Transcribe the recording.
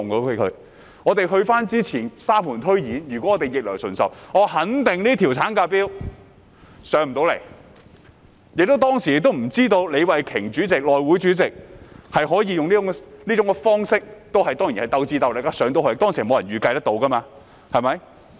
回顧從前，沙盤推演，如果我們逆來順受，我肯定這項產假法案無法提交立法會，而且當時也不知道內務委員會主席李慧琼議員可以用這種方式選上——當然過程中要鬥智鬥力——當時沒有人預計得到，對嗎？